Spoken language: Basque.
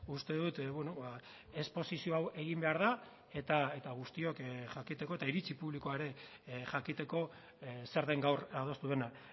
uste dut esposizio hau egin behar da eta guztiok jakiteko eta iritzi publikoa ere jakiteko zer den gaur adostu dena